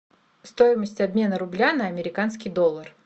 стоимость обмена рубля на американский доллар